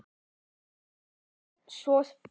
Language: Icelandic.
Hann hélt svo fast.